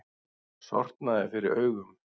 Sortnaði fyrir augum.